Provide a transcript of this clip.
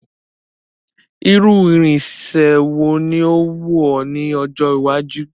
Irú irinse wo ni o wù ọ ní ọjọ́ iwájú